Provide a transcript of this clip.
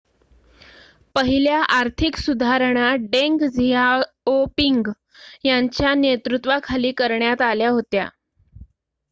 पहिल्या आर्थिक सुधारणा डेंग झियाओपिंग यांच्या नेतृत्वाखाली करण्यात आल्या होत्या